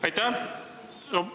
Aitäh!